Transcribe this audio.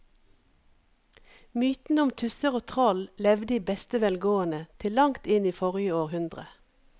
Mytene om tusser og troll levde i beste velgående til langt inn i forrige århundre.